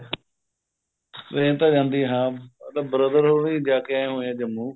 train ਤਾਂ ਜਾਂਦੀ ਹੈ ਮਤਲਬ brother ਹੁਣੀ ਜਾ ਕਿ ਆਏ ਹੋਏ ਆ ਜੰਮੂ